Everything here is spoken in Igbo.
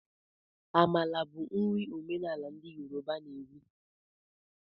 Amala bụ nri omenala ndị Yoruba na eri.